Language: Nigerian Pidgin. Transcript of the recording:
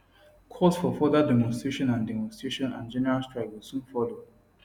calls for further demonstration and demonstration and general strike go soon follow